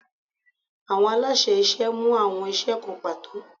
Awọn alaṣẹ iṣẹ mu awọn iṣẹ kan pato